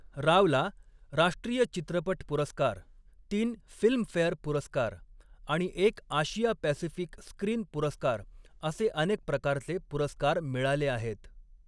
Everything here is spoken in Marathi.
रावला राष्ट्रीय चित्रपट पुरस्कार, तीन फिल्मफेअर पुरस्कार आणि एक आशिया पॅसिफिक स्क्रीन पुरस्कार असे अनेक प्रकारचे पुरस्कार मिळाले आहेत.